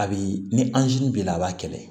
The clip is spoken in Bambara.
A bi ni anzini b'i la a b'a kɛlɛ